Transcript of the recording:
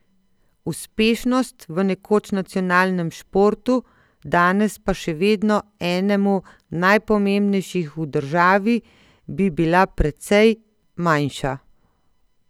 Uspešnost v nekoč nacionalnem športu, danes pa še vedno enemu najpomembnejših v državi, bi bila precej manjša!